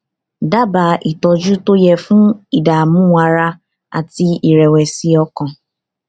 dábàá ìtọjú tó yẹ fún ìdààmú ara àti ìrẹwẹsì ọkàn